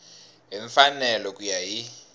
hi mfanelo ku ya hi